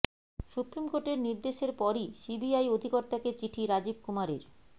supreme কোর্টের নির্দেশের পরই সিবিআই অধিকর্তাকে চিঠি রাজীব কুমারের